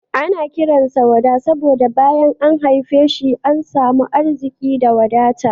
Ana kiran sa Wada saboda bayan an haife shi an samu arziki da wadata.